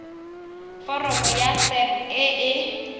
foromo ya sap e e